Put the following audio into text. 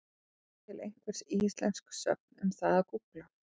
Og er til einhver íslensk sögn um það að gúgla?